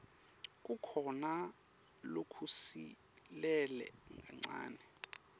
kukhona lokusilele kancane